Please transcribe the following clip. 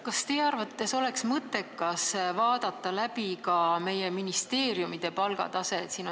Kas teie arvates oleks mõttekas vaadata üle meie ministeeriumide palgatase?